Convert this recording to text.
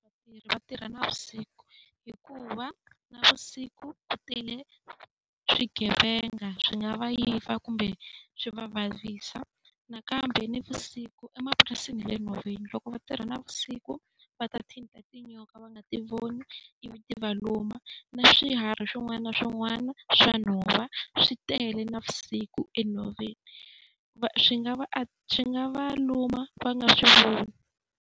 Vatirhi va tirha navusiku hikuva navusiku ku tele swigevenga swi nga va yiva kumbe swi va vavisa. Nakambe navusiku emapurasini ya le nhoveni loko va tirha navusiku va ta thinta tinyoka va nga ti voni ivi ti va luma, na swiharhi swin'wana na swin'wana swa nhova swi tele navusiku enhoveni. Va swi nga va swi nga va luma va nga swi voni.